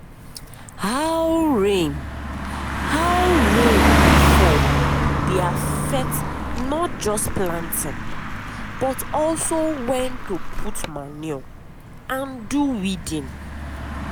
how rain how rain dey fall dey affect not just planting but also when to put manure and do weeding.